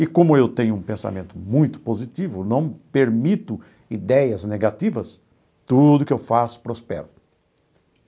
E como eu tenho um pensamento muito positivo, não permito ideias negativas, tudo que eu faço prospera.